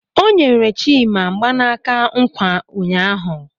O nyere Chima mgbanaka nkwa ụnyaahụ.